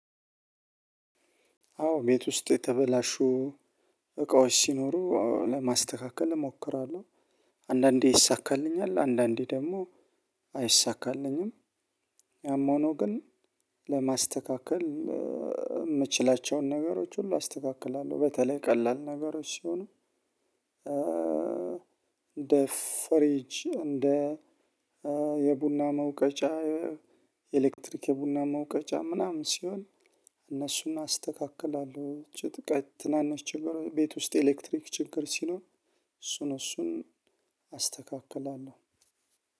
አዎ ቤት ውስጥ የተበላሹ እቃዎች ሲኖሩ ለማስተካከል እሞክራለሁ አንዳንዴ ይይሳካልኛል አንዳንዴ ደግሞ አይይሳካልኝም። ያም ሆኖ ግን ለማስተካከል የምችላቸውን ነገሮች ሁሉ አስተካክላለሁ። በተለይ ቀላል ነገሮች ስሆኑ እንደ ፍሪጅ እንደ የቡና መውቀጫ የኤሌክትሪክ የቡና መውቀጫ ምናምን ሲሆን እነሱን አስተካክላለሁ። ትናንሽ ቤት ውስጥ ኤሌክትሪክ ችግር ሲኖር እሱን እሱን አስተካክላለሁ።